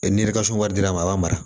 ni wari dir'a ma a b'a mara